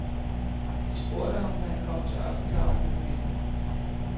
De spurgte ham, da han kom til aftenkaffe med familien.